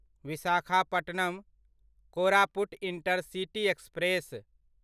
Visakhapatnam Koraput intercity express